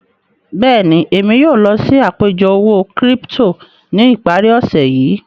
Bẹ́ẹ̀ni, èmi yóò lọ sí àpẹ̀jọ òwó-kírípítò ní ìpàrí òṣè yìí.